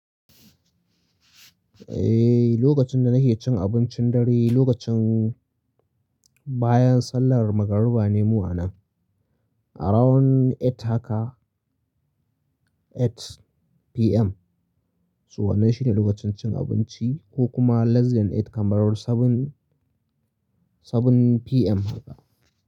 Eh, lokacin da nake cin abincin dare lokacin bayan sallar magariba ne mu a nan. Around 8 haka, 8 PM. To wannan shine lokacin cin abinci ko kuma less than 8 kamar 7, 7 PM haka.